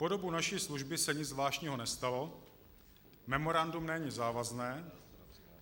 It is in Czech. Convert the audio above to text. Po dobu naší služby se nic zvláštního nestalo, memorandum není závazné.